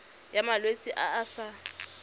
ya malwetse a a sa